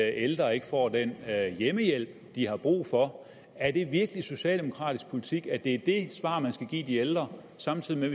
ældre ikke får den hjemmehjælp de har brug for er det virkelig socialdemokratisk politik at det er det svar man skal give de ældre samtidig med